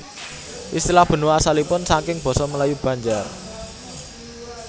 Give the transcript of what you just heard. Istilah benua asalipun saking Basa Melayu Banjar